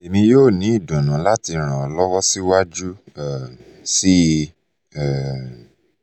emi yoo ni idunnu lati ran ọ lọwọ siwaju um sii um